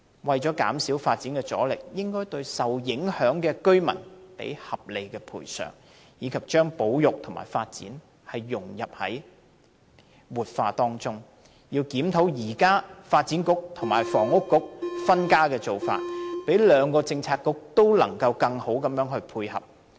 為減少發展阻力，政府應該合理賠償受影響居民，並將保育融入發展和活化當中，要檢討現時發展局和運輸及房屋局分家的做法，令兩個政策局得以進一步互相配合。